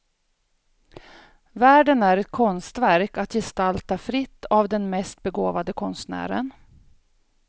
Världen är ett konstverk att gestalta fritt av den mest begåvade konstnären.